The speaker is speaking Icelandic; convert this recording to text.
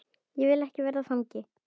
Ég vil ekki verða fangi.